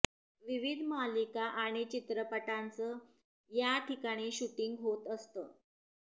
विविध मालिका आणि चित्रपटांचं या ठिकाणी शूटिंग होत असतं